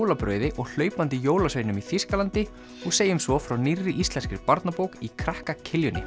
jólabrauði og hlaupandi jólasveinum í Þýskalandi og segjum svo frá nýrri íslenskri barnabók í krakka